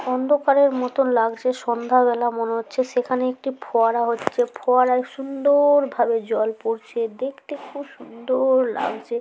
অন্ধকারের মতন লাগছে। সন্ধ্যাবেলা মনে হচ্ছে। সেখানে একটি ফোয়ারা হচ্ছে। ফোয়ারায় সুন্দর-র-র ভাবে জল পরছে। দেখতে খুব সুন্দর-র-র লাগছে।